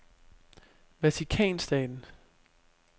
Vatikanstaten